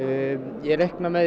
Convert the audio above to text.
ég reikna með